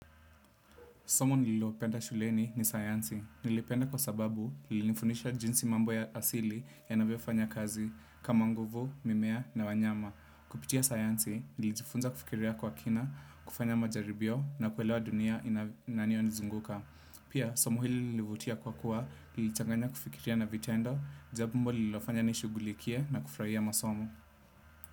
Somo nilopenda shuleni ni sayansi. Nilipenda kwa sababu lilinifundisha jinsi mambo ya asili yanavyo kazi kama nguvu, mimea na wanyama. Kupitia sayansi, nilijifunza kufikiria kwa kina, kufanya majaribio na kuelewa dunia inanio nizunguka. Pia, somo hili lilinivutia kwa kuwa, nilichanganya kufikiria na vitendo, jambo lililofanya nishugulikie na kufraia masomo.